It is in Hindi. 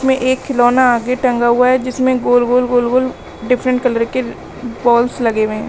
में एक खिलौना आगे टंगा हुआ है जिसमें गोल गोल गोल गोल डिफरेंट कलर केर बॉल्स लगे हुए हैं।